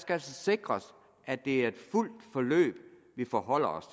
altså sikres at det er et fuldt forløb vi forholder os